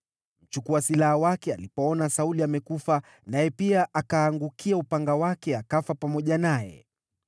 Mchukua silaha wake alipoona Sauli amekufa, naye pia akaangukia upanga wake akafa pamoja naye.